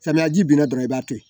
Samiyaji binna dɔrɔn i b'a to yen